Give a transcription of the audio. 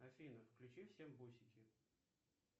афина включи всем бусики